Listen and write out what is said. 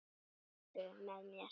Heru með mér.